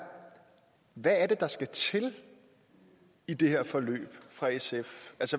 hvad er det der skal til i det her forløb for sf